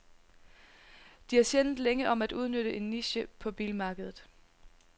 De er sjældent længe om at udnytte en niche på bilmarkedet.